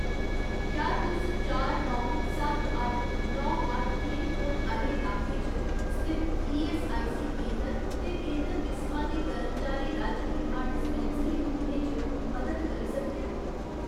क्या तुस चार नौ सत्त अट्ठ नौ अट्ठ पिनकोड आह्‌ले लाके च स्थित ईऐस्सआईसी केंदर ते केंदर किसमा दी कर्मचारी राज्य बीमा डिस्पैंसरी तुप्पने च मदद करी सकदे ओ ?